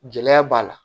Gɛlɛya b'a la